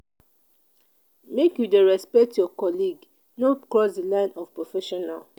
make you dey respect your colleague no cross di line of prefessional.